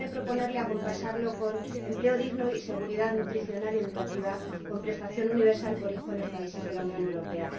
Déjeme proponerle acompasar estos temas con empleo digno y seguridad nutricional y educativa, con prestación universal por hijo en los países de la Unión Europea.